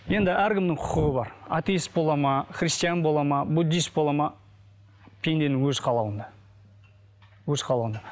енді әркімнің құқығы бар аттеист болады ма христиан болады ма буддист болады ма пенденің өз қалауында өз қалауында